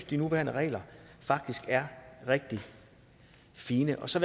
de nuværende regler er rigtig fine så